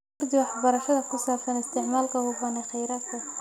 Kordhi waxbarashada ku saabsan isticmaalka hufan ee kheyraadka.